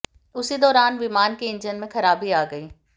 उसी दौरान विमान के इंजन में खराबी आ गई